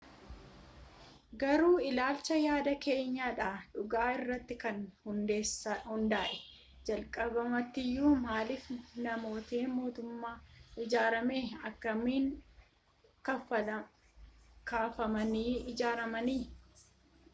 garuu ilaalchaa yaada keenya dha dhugaa irratti kan hundaa'e jalqabumaatiyu maaliif manni mootoots ijaarame akkamin kafamanii ijaaramanii